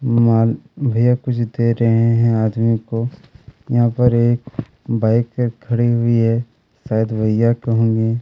माल भईया कुछ दे रहै हैं आदमी को यहाँ पर एक बाइक खड़ी हुई है शायद भईया की होगी--